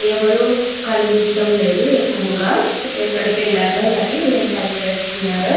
ఎవ్వరూ కనిపించడం లేదు ఎక్కువగాఎక్కడికి ఎల్లారో మరి ఏంపని చేస్తున్నారో.